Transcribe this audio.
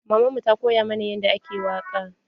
Maman mu ta koya mana yadda ake waƙa.